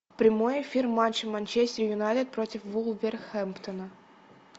прямой эфир матча манчестер юнайтед против вулверхэмптона